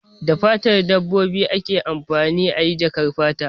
Da fatan dabbobi ake amfani ayi jakar fata